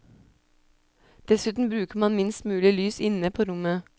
Dessuten bruker man minst mulig lys inne på rommet.